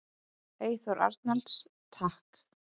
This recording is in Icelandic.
Eyþór Arnalds: Takk.